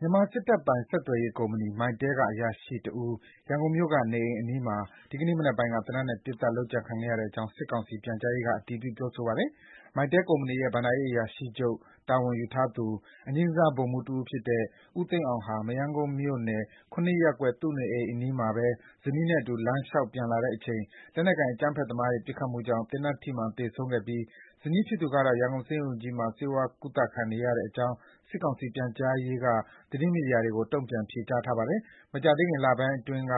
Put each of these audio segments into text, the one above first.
မြန်မာစစ်တပ်ပိုင် ဆက်သွယ်ရေးကုမ္ပဏီ MyTel က အရာရှိတဦး ရန်ကုန်မြို့က နေအိမ်အနီးမှာ ဒီကနေ့မနက်ပိုင်းက သေနတ်နဲ့ ပစ်ခတ် လုပ်ကြံခံခဲ့ရတဲ့အကြောင်း စစ်ကောင်စီ ပြန်ကြားရေးက အတည်ပြု ပြောဆိုပါတယ်။ Mytel ကုမ္ပဏီရဲ့ ဘဏ္ဍာရေးအရာရှိချုပ် တာဝန်ယူထားသူ အငြိမ်းစားဗိုလ်မှူးတဦးဖြစ်တဲ့ ဦးသိန်းအောင် ဟာ မရမ်းကုန်းမြို့နယ် (၇) ရပ်ကွက် သူ့နေအိမ်အနီးမှာပဲ ဇနီးသည်နဲ့အတူ လမ်းလျှောက် ပြန်လာတဲ့အချိန် လက်နက်ကိုင် အကြမ်းဖက်သမားရဲ့ ပစ်ခတ်မှုကြောင့် သေနတ်ထိမှန် သေဆုံးခဲ့ပြီး ဇနီးဖြစ်သူကတော့ ရန်ကုန်ဆေးရုံကြီးမှာ ဆေးဝါးကုသခံယူနေရတဲ့အကြောင်း စစ်ကောင်စီ ပြန်ကြားရေးက သတင်းမီဒီယာတွေကို တုံ့ပြန် ဖြေကြားထားပါတယ်။ မကြာသေးခင် လပိုင်းတွေကတည်းက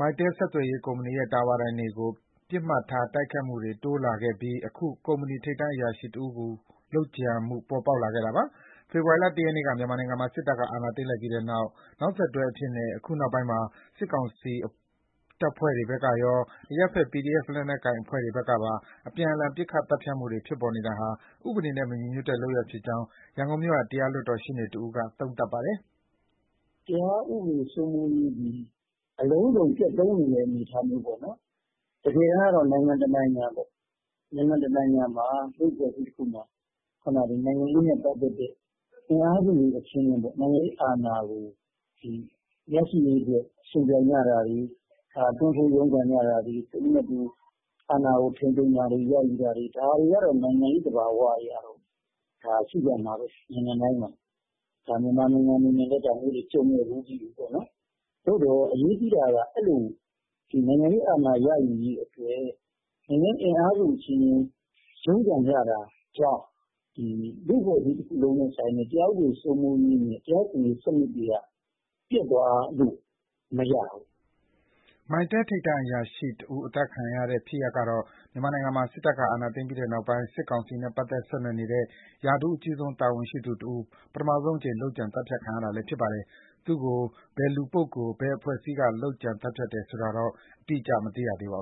Mytel ဆက်သွယ်ရေးကုမ္ပဏီရဲ့ တာဝါတိုင်တွေကို ပစ်မှတ်ထား တိုက်ခိုက်မှုတွေ တိုးလာခဲ့ပြီး အခု ကုမ္ပဏီ ထိပ်တန်းအရာရှိတဦးကို လုပ်ကြံမှု ပေါ်ပေါက်ခဲ့တာပါ။ ဖေဖော်ဝါရီလ ၁ ရက်နေ့က မြန်မာနိုင်ငံမှာ စစ်တပ်က အာဏာသိမ်းလိုက်ပြီးတဲ့ နောက်ဆက်တွဲအဖြစ်နဲ့ အခုနောက်ပိုင်းမှာ စစ်ကောင်စီတပ်ဖွဲ့တွေဘက်ကရော အရပ်ဘက် PDF လက်နက်ကိုင်အဖွဲ့တွေဘက်ကပါ အပြန်အလှန် ပစ်ခတ် သတ်ဖြတ်မှုတွေ ဖြစ်ပေါ်နေတာဟာ ဥပဒေနဲ့ မညီညွတ်တဲ့လုပ်ရပ်ဖြစ်ကြောင်း ရန်ကုန်မြို့က တရားလွှတ်တော်ရှေ့နေတဦးက သုံးသပ်ပါတယ်။ “တရားဥပဒေစိုးမိုးရေးသည် အလုံးစုံ ပျက်သုဉ်းနေတဲ့ အနေအထားမျိုးပေါ့နှော်။ တကယ်တမ်းကတော့ နိုင်ငံတနိုင်ငံပေါ့၊ နိုင်ငံတနိုင်ငံ၊ လူ့ဖွဲ့အစည်းတခုမှာ နိုင်ငံရေးနဲ့ပတ်သက်တဲ့ အင်အားစုတွေ အချင်းချင်းပေါ့ နိုင်ငံရေးအာဏာကို ရရှိရေးအတွက် ယှဉ်ပြိုင်ကြတာတွေ၊ တွန်းထိုးရုန်းကန်ကြတာတွေ၊ တဦးနဲ့တဦး အာဏာကို ထိန်းသိမ်းတာတွေ၊ ရယူတာတွေ ဒါတွေကတော့ နိုင်ငံရေး သဘာဝအရရှိကြမှာပဲ နိုင်ငံတိုင်းမှာ၊ မြန်မာနိုင်ငံအနေနဲ့လည်း ဒါမျိုးတွေကို ကြုံခဲ့ဖူးပြီးပြီပေါ့နော်။ သို့သော် အရေးကြီးတာက ဒီနိုင်ငံရေးအာဏာ ရယူရေးအတွက် နိုင်ငံရေး အင်အားစုအချင်းချင်း ရုန်းကန်ကြတာကြောင့် လူ့အဖွဲ့အစည်းတခုလုံးနဲ့ ဆိုင်တဲ့ တရားဥပဒေစိုးမိုးရေးနဲ့ တရားစီရင်ရေးစနစ်တွေက ပျက်သွားလို့မရဘူး။” MyTel ထိပ်တန်းအရာရှိတဦး အသတ်ခံရတဲ့ဖြစ်ရပ်ကတော့ မြန်မာနိုင်ငံမှာ စစ်တပ်က အာဏာသိမ်းပြီးတဲ့နောက်ပိုင်း စစ်ကောင်စီနဲ့ ပတ်သက်ဆက်နွယ်နေတဲ့ ရာထူးအကြီးဆုံး တာဝန်ရှိသူတဦး ပထမဆုံးအကြိမ် လုပ်ကြံ သတ်ဖြတ်ခံရတာလည်း ဖြစ်ပါတယ်။ သူ့ကို ဘယ်လူပုဂ္ဂိုလ်၊ အဖွဲ့အစည်းက လုပ်ကြံသတ်ဖြတ်တယ်ဆိုတာတော့ အတိအကျ အသိရသေးပါဘူ